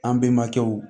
An bɛnbakɛw